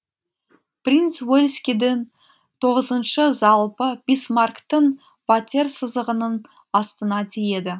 принц уэльскийдін тоғызыншы залпы бисмарктін ватерсызығынын астына тиеді